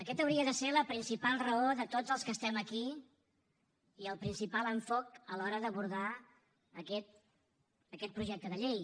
aquests haurien de ser la principal raó de tots els que estem aquí i el principal enfocament a l’hora d’abordar aquest projecte de llei